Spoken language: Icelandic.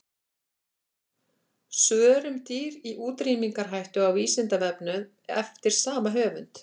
Svör um dýr í útrýmingarhættu á Vísindavefnum eftir sama höfund.